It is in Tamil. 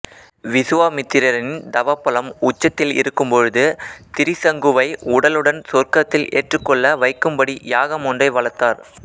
விசுவாமித்திரரின் தவபலம் உச்சத்தில் இருக்கும் பொழுது திரிசங்குவை உடலுடன் சொர்க்கத்தில் ஏற்றுக்கொள்ள வைக்கும்படி யாகம் ஒன்றை வளர்த்தார்